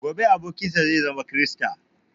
Gobe abokin sa zai zama krista